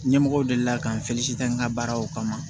Ɲɛmɔgɔw delila ka n n ka baaraw kama